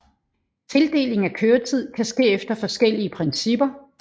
Tildeling af køretid kan ske efter forskellige principper